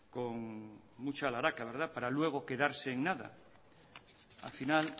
con mucha para luego quedarse en nada al final